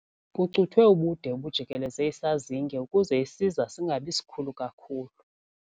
Kucuthwe ubude obujikeleze isazinge ukuze isiza singabi sikhulu kakhulu.